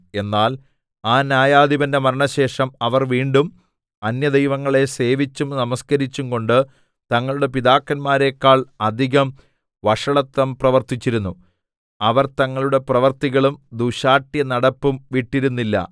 എന്നാൽ ആ ന്യായാധിപന്റെ മരണശേഷം അവർ വീണ്ടും അന്യദൈവങ്ങളെ സേവിച്ചും നമസ്കരിച്ചും കൊണ്ട് തങ്ങളുടെ പിതാക്കന്മാരെക്കാൾ അധികം വഷളത്വം പ്രവർത്തിച്ചിരുന്നു അവർ തങ്ങളുടെ പ്രവൃത്തികളും ദുശ്ശാഠ്യനടപ്പും വിട്ടിരുന്നില്ല